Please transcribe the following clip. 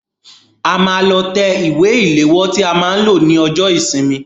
A máa lọ tẹ ìwé ìléwọ́ tí a máa lò ní ọjọ́ ìsinmi.